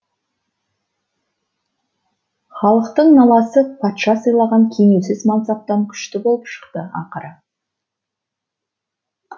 халықтың наласы патша сыйлаған кенеусіз мансаптан күшті болып шықты ақыры